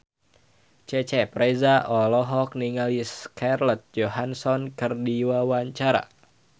Cecep Reza olohok ningali Scarlett Johansson keur diwawancara